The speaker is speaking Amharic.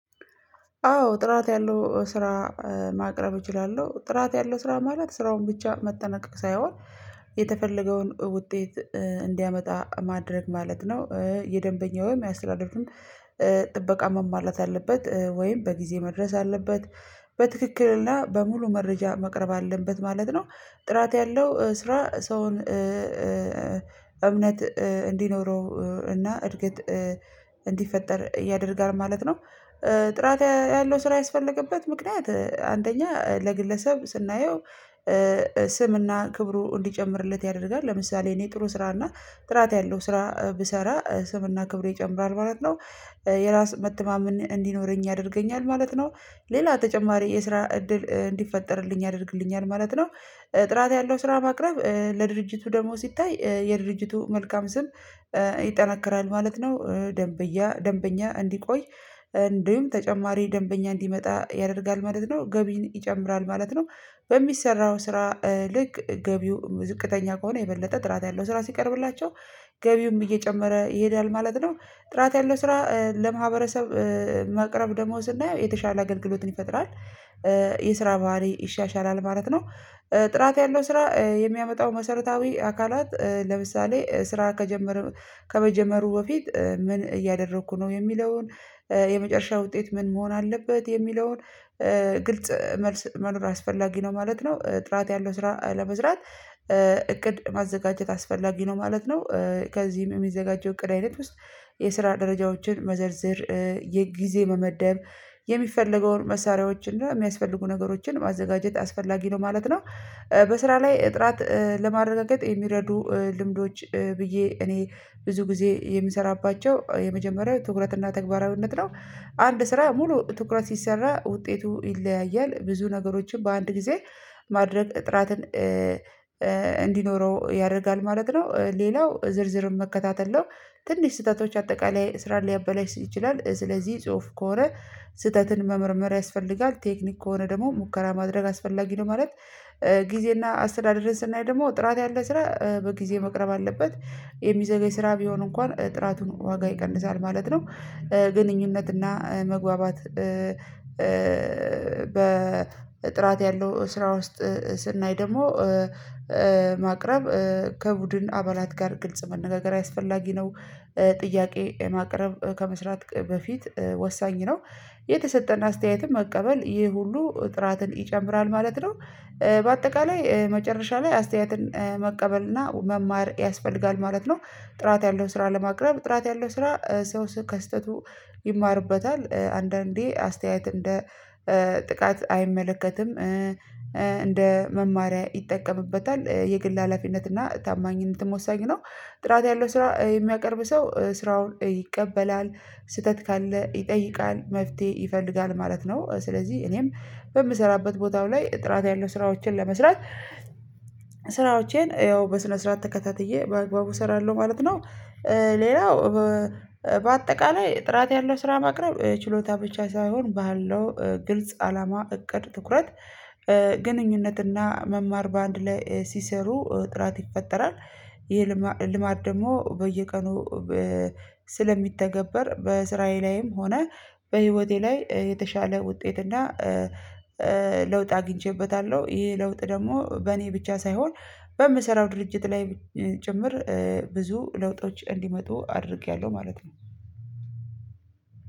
አዎ ጥራት ያለው ስራ ማቅረብ እችላለሁ። ጥራት ያለው ስራ ማለት ስራውን ብቻ መጠናቀቅ ሳይሆን የተፈለገውን ውጤት እንዲያመጣ ማድረግ ማለት ነው። የደንበኛውም የአስተዳደሩን ጥበቃ መማላት አለበት ወይም በጊዜ መድረስ አለበት። በትክክልና በሙሉ መረጃ መቅረብ አለበት ማለት ነው። ጥራት ያለው ስራ ሰውን እምነት እንዲኖረው እና እርግጥ እንዲፈጠር ያደርጋል ማለት ነው። ጥራት ያለው ስራ ያስፈለገበት ምክንያት አንደኛ ለግለሰብ ስናየው ስምና ክብሩ እንዲጨምርለት ያደርጋል። ለምሳሌ እኔ ጥሩ ስራ እና ጥራት ያለው ስራ ብሰራ ስምና ክብሩ ይጨምራል ማለት ነው። የራስ መተማመን እንዲኖረኝ ያደርገኛል ማለት ነው። ሌላ ተጨማሪ የስራ እድል እንዲፈጠርልኝ ያደርግልኛል ማለት ነው። ጥራት ያለው ስራ ማቅረብ ለድርጅቱ ደግሞ ሲታይ የድርጅቱ መልካም ስም ይጠነክራል ማለት ነው። ደንበኛ እንዲቆይ እንደውም ተጨማሪ ደንበኛ እንዲመጣ ያደርጋል ማለት ነው። ገቢን ይጨምራል ማለት ነው። በሚሰራው ስራ ልክ ገቢው ዝቅተኛ ከሆነ የበለጠ ጥራት ያለው ስራ ሲቀርብላቸው ገቢውም እየጨመረ ይሄዳል ማለት ነው። ጥራት ያለው ስራ ለማህበረሰብ ማቅረብ ደግሞ ስናየው የተሻለ አገልግሎትን ይፈጥራል። የስራ ባህሪ ይሻሻላል ማለት ነው። ጥራት ያለው ስራ የሚያመጣው መሰረታዊ አካላት ለምሳሌ ስራ ከጀመረ ከመጀመሩ በፊት ምን እያደረኩ ነው የሚለውን የመጨረሻ ውጤት ምን መሆን አለበት የሚለውን ግልጽ መልስ መኖር አስፈላጊ ነው ማለት ነው። ጥራት ያለው ስራ ለመስራት እቅድ ማዘጋጀት አስፈላጊ ነው ማለት ነው። ከዚህም የሚዘጋጀው እቅድ አይነት ውስጥ የስራ ደረጃዎችን መዘርዘር የጊዜ በመደብ የሚፈለገውን መሳሪያዎችን እና የሚያስፈልጉ ነገሮችን ማዘጋጀት አስፈላጊ ነው ማለት ነው። በስራ ላይ ጥራት ለማረጋገጥ የሚረዱ ልምዶች ብዬ እኔ ብዙ ጊዜ የምሰራባቸው የመጀመሪያው ትኩረትና ተግባራዊነት ነው። አንድ ስራ ሙሉ ትኩረት ሲሰራ ውጤቱ ይለያያል ብዙ ነገሮችን በአንድ ጊዜ ማድረግ ጥራትን እንዲኖረው ያደርጋል ማለት ነው። ሌላው ዝርዝርም መከታተል ነው። ትንሽ ስህተቶች አጠቃላይ ስራ ሊያበላሽ ይችላል ስለዚህ ጽሁፍ ከሆነ ስህተትን መመርመር ያስፈልጋል ቴክኒክ ከሆነ ደግሞ ሙከራ ማድረግ አስፈላጊ ነው ማለት። ጊዜና አስተዳደርን ስናይ ደግሞ ጥራት ያለ ስራ በጊዜ መቅረብ አለበት። የሚዘገይ ስራ ቢሆን እንኳን ጥራቱን ዋጋ ይቀንሳል ማለት ነው። ግንኙነት እና መግባባት በጥራት ያለው ስራ ውስጥ ስናይ ደግሞ ማቅረብ ከቡድን አባላት ጋር ግልጽ መነጋገር አስፈላጊ ነው። ጥያቄ ማቅረብ ከመስራት በፊት ወሳኝ ነው። የተሰጠን አስተያየትም መቀበል ይህ ሁሉ ጥራትን ይጨምራል ማለት ነው። በአጠቃላይ መጨረሻ ላይ አስተያየትን መቀበል እና መማር ያስፈልጋል ማለት ነው። ጥራት ያለው ስራ ለማቅረብ ጥራት ያለው ስራ ሰው ከስተቱ ይማርበታል። አንዳንዴ አስተያየት እንደ ጥቃት አይመለከትም እንደ መማሪያ ይጠቀምበታል የግል ሀላፊነት እና ታማኝነትም ወሳኝ ነው። ጥራት ያለው ስራ የሚያቀርብ ሰው ስራውን ይቀበላል ስህተት ካለ ይጠይቃል መፍትሄ ይፈልጋል ማለት ነው። ስለዚህ እኔም በምሰራበት ቦታው ላይ ጥራት ያለው ስራዎችን ለመስራት ስራዎቼን ያው በስነ ስርዓት ተከታትዬ በአግባቡ እሰራለሁ ማለት ነው። ሌላው በአጠቃላይ ጥራት ያለው ስራ ማቅረብ ችሎታ ብቻ ሳይሆን ባለው ግልጽ አላማ እቅድ ትኩረት ግንኙነትና መማር በአንድ ላይ ሲሰሩ ጥራት ይፈጠራል። ይሄ ልማድ ደግሞ በየቀኑ ስለሚተገበር በእስራዬ ላይም ሆነ በህይወቴ ላይ የተሻለ ውጤት እና ለውጥ አግኝቼበታለሁ። ይሄ ለውጥ ደግሞ በእኔ ብቻ ሳይሆን በምሰራው ድርጅት ላይ ጭምር ብዙ ለውጦች እንዲመጡ አድርጌያለሁ ማለት ነው።